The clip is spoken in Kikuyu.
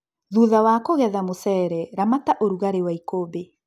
Thutha wa kũgetha mũcere, ramata ũrugari wa ikũmbĩ